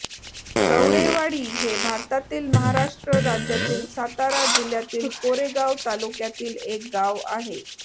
कवडेवाडी हे भारतातील महाराष्ट्र राज्यातील सातारा जिल्ह्यातील कोरेगाव तालुक्यातील एक गाव आहे